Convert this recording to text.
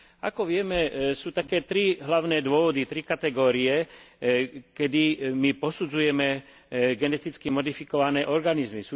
Ako vieme, sú také tri hlavné dôvody, tri kategórie, kedy my posudzujeme geneticky modifikované organizmy.